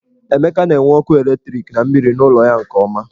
Emeka na-enwe ọkụ eletriki na mmiri n'ụlọ ya nke ọma.